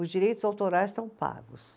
Os direitos autorais estão pagos.